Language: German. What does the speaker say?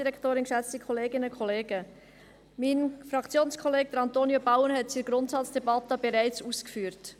Mein Fraktionskollege, Antonio Bauen, hat es in der Grundsatzdebatte bereits ausgeführt: